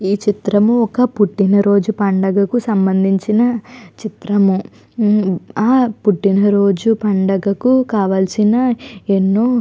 ఈ చిత్రము ఒక పుట్టినరోజు పండగకి సంబంధించిన చిత్రము. ఆ పుట్టిన రోజు పండగకు కావాల్సిన ఎన్నో --